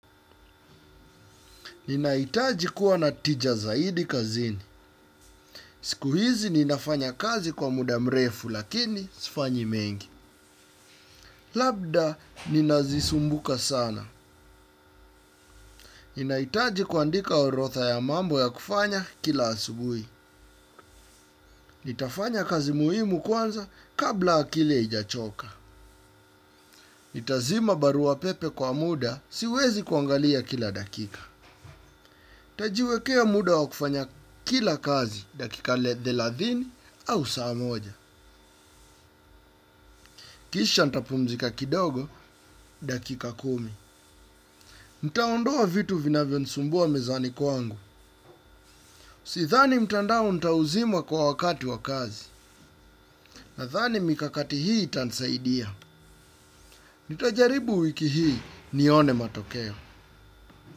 Ninahitaji kuwa na tija zaidi kazini. Siku hizi ninafanya kazi kwa muda mrefu lakini sifanyi mengi. Labda ninazisumbuka sana. Ninahitaji kuandika orodha ya mambo ya kufanya kila asubuhi. Nitafanya kazi muhimu kwanza kabla akili haijachoka. Nitazima barua pepe kwa muda siwezi kuangalia kila dakika. Tajiwekea muda wa kufanya kila kazi dakika thelathini au saa moja. Kisha ntapumzika kidogo dakika kumi. Nitaondoa vitu vinavyo nisumbua mezani kwangu. Sidhani mtandao nitauzima kwa wakati wa kazi. Nadhani mikakati hii itanisaidia. Nitajaribu wiki hii nione matokea.